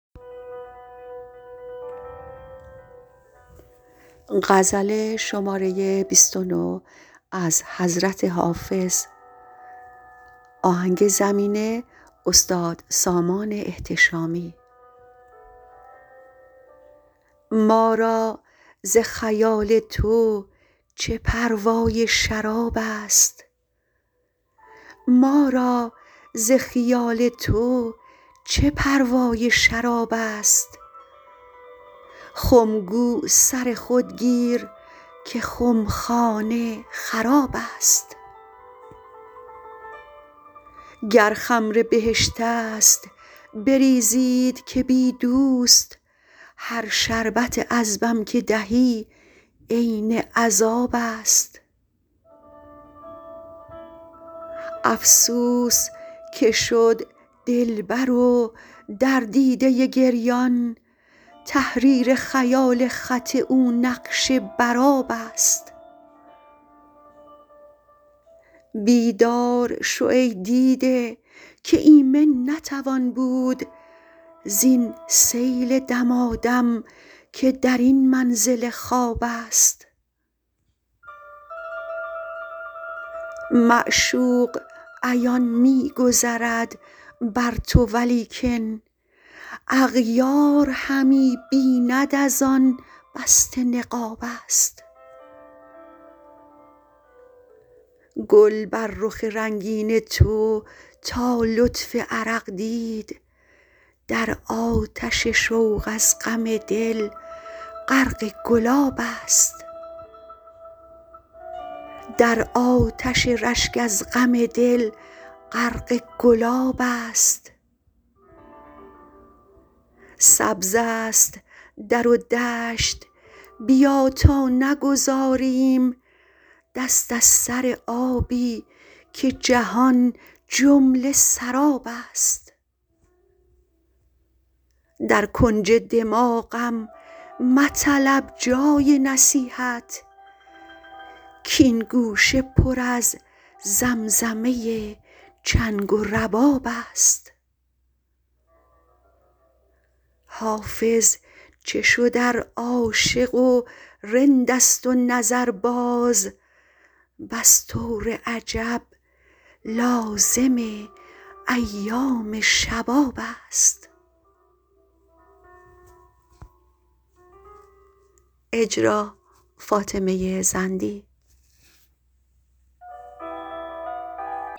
ما را ز خیال تو چه پروای شراب است خم گو سر خود گیر که خمخانه خراب است گر خمر بهشت است بریزید که بی دوست هر شربت عذبم که دهی عین عذاب است افسوس که شد دلبر و در دیده گریان تحریر خیال خط او نقش بر آب است بیدار شو ای دیده که ایمن نتوان بود زین سیل دمادم که در این منزل خواب است معشوق عیان می گذرد بر تو ولیکن اغیار همی بیند از آن بسته نقاب است گل بر رخ رنگین تو تا لطف عرق دید در آتش شوق از غم دل غرق گلاب است سبز است در و دشت بیا تا نگذاریم دست از سر آبی که جهان جمله سراب است در کنج دماغم مطلب جای نصیحت کـ این گوشه پر از زمزمه چنگ و رباب است حافظ چه شد ار عاشق و رند است و نظرباز بس طور عجب لازم ایام شباب است